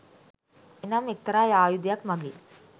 එනම් එක්තරා ආයුධයක් මඟින්